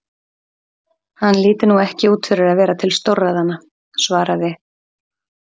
Hann lítur nú ekki út fyrir að vera til stórræðanna, svaraði